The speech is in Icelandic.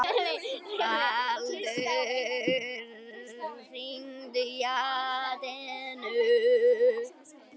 Baldur, hringdu í Atenu.